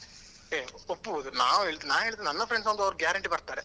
ಏ ಒಪ್ಪುಬೊದು ನಾವ್ ಹೇಳಿದ್ರೆ ನಾನ್ ಹೇಳಿದ್ರೆ ನನ್ನ friends ಒಂದು ಅವ್ರು guarantee ಬರ್ತಾರೆ.